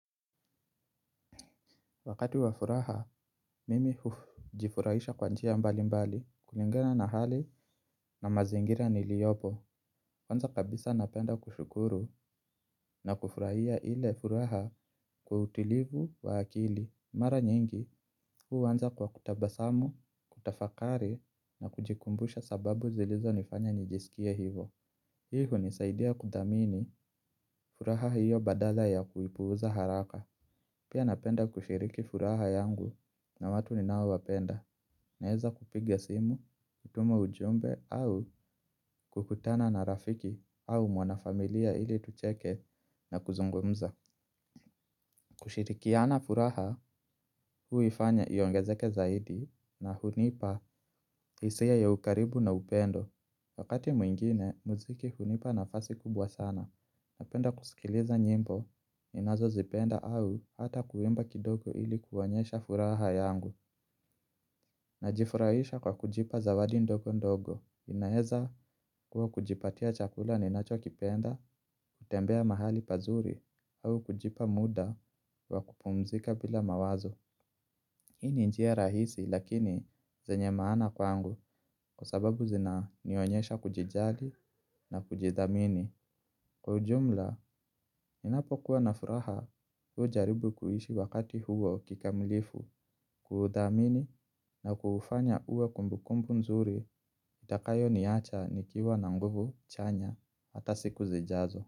Wakati wa furaha, mimi hujifurahisha kwa njia mbali mbali, kulingana na hali na mazingira niliopo. Kwanza kabisa napenda kushukuru na kufurahia ile furaha kwa utilivu wa akili. Mara nyingi, huu anza kwa kutabasamu, kutafakari na kujikumbusha sababu zilizo nifanya nijisikie hivo. Hi hunisaidia kudhamini furaha hiyo badala ya kuipuza haraka. Pia napenda kushiriki furaha yangu na watu ninao wapenda naeza kupiga simu, kutuma ujumbe au kukutana na rafiki au mwana familia ili tucheke na kuzungumza. Kushirikiana furaha huifanya iongezeke zaidi na hunipa isia ya ukaribu na upendo. Wakati mwingine, muziki hunipa nafasi kubwa sana. Napenda kusikiliza nyimbo, ninazo zipenda au hata kuimba kidogo ili kuonyesha furaha yangu. Najifurahisha kwa kujipa zawadi ndogo ndogo. Inaeza kuwa kujipatia chakula ninacho kipenda, kutembea mahali pazuri, au kujipa muda wa kupumzika bila mawazo. Hii ni njia rahisi lakini zenye maana kwangu kwa sababu zina nionyesha kujijali na kujidhamini. Kwa ujumla, ninapo kuwa na furaha huu jaribu kuhishi wakati huo kikamilifu, ku udhamini naku ufanya uwe kumbukumbu nzuri, itakayo niacha nikiwa na nguvu chanya, hata siku zijazo.